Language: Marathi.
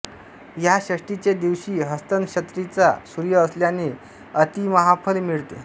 ह्या षष्ठीचे दिवशी हस्तनक्षत्रींचा सूर्य असल्याने अतिमहाफल मिळते